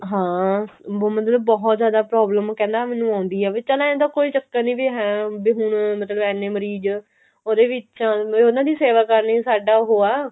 ਹਾਂ